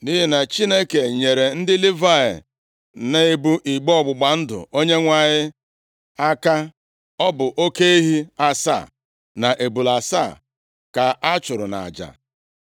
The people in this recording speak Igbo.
Nʼihi na Chineke nyeere ndị Livayị na-ebu igbe ọgbụgba ndụ Onyenwe anyị aka, ọ bụ oke ehi asaa na ebule asaa ka a chụrụ nʼaja.